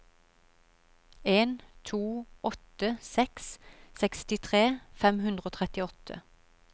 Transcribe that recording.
en to åtte seks sekstitre fem hundre og trettiåtte